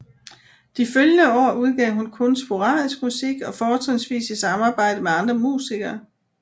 De følgende år udgav hun kun sporadisk musik og fortrinsvis i samarbejde med andre musikere